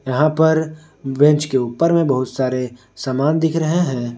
यहां पर बेंच के ऊपर में बहुत सारे सामान दिख रहे हैं।